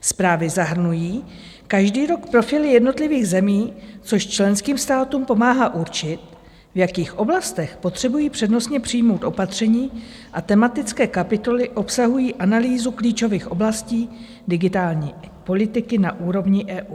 Zprávy zahrnují každý rok profily jednotlivých zemí, což členským státům pomáhá určit, v jakých oblastech potřebují přednostně přijmout opatření, a tematické kapitoly obsahují analýzu klíčových oblastí digitální politiky na úrovni EU.